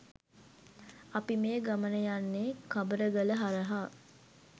අපි මේ ගමන යන්නේ කබරගල හරහා